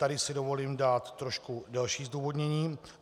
Tady si dovolím dát trošku delší zdůvodnění.